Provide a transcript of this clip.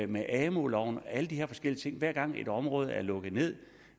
ved amu loven hver gang et område er blevet lukket ned